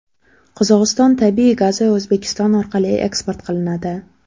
Qozog‘iston tabiiy gazi O‘zbekiston orqali eksport qilinadi.